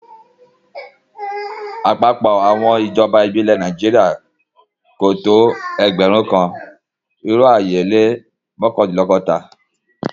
Àpapọ̀ àwọn ijọba ibilẹ̀ ni Naijiria kò tó ẹgbẹ̀rún kan, irò ayé o lẹ́ mọkandinlọgọ́ta.